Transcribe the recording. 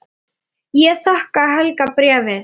Ég þakka Helga bréfið.